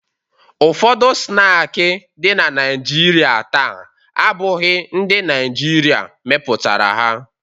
Ụfọdụ snaakị dị na Naịjirịa taa abụghị ndị Naịjirịa mepụtara ha.